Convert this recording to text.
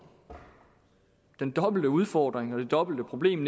den dobbelte udfordring og det dobbelte problem